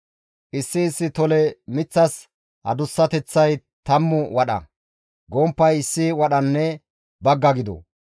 Issi issi tole miththas adussateththay tammu wadha, gomppay issi wadhanne bagga gido.